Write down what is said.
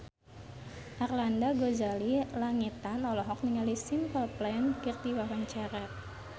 Arlanda Ghazali Langitan olohok ningali Simple Plan keur diwawancara